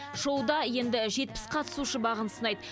шоуда енді жетпіс қатысушы бағын сынайды